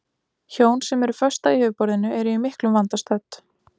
Hjón sem eru föst á yfirborðinu eru í miklum vanda stödd.